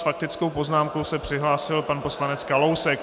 S faktickou poznámkou se přihlásil pan poslanec Kalousek.